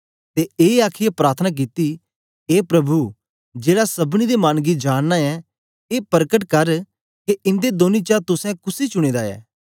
ते ऐ आखीयै प्रार्थना कित्ती ए प्रभु जेड़ा सबनी दे मन गी जानना ऐं ए परकट कर के इंदे दोंनी चा तुसें कुसी चुने दा ऐ